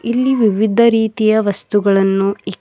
ಇಲ್ಲಿ ವಿವಿಧ ರೀತಿಯ ವಸ್ತುಗಳನ್ನು ಇಕ್--